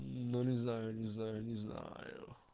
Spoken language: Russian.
но не знаю не знаю не знаю